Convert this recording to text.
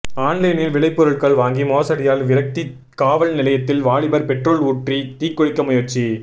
ஆன்லைனில் விளைபொருட்கள் வாங்கி மோசடியால் விரக்தி காவல் நிலையத்தில் வாலிபர் பெட்ரோல் ஊற்றி தீக்குளிக்க முயற்சி